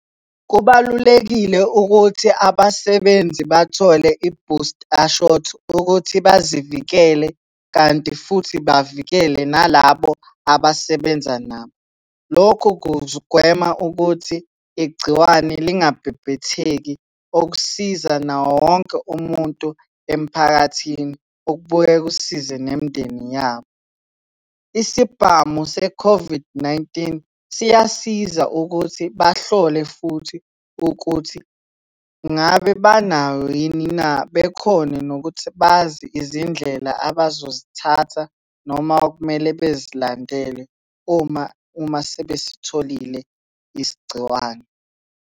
Kubalulekile ukuthi abasebenzi bathole i-booster shot ukuthi bazivikele kanti futhi bavikele nalabo abasebenza nabo. Lokhu kugwema ukuthi igciwane lingabhebhetheki, okusiza nawowonke umuntu emphakathini, okubuye kusize nemindeni yabo. Isibhamu se-COVID-19 siyasiza ukuthi bahlole futhi ukuthi ngabe banayo yini na, bekhone nokuthi bazi izindlela abazozithatha noma okumele bezilandele uma sebesitholile isigciwane.